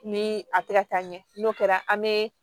Ni a tɛ ka taa ɲɛ n'o kɛra an bɛ